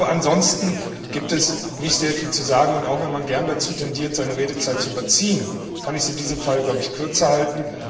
Ansonsten gibt es nicht sehr viel zu sagen, und auch wenn man gerne dazu tendiert, seine Redezeit zu überziehen, kann ich sie in diesem Fall kürzer halten.